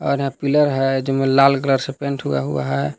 यहां पिलर है जिनमें लाल कलर से पेंट हुआ हुआ है।